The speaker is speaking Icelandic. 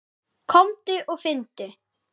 Komdu og finndu!